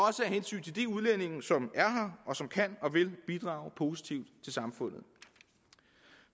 af hensyn til de udlændinge som er her og som kan og vil bidrage positivt til samfundet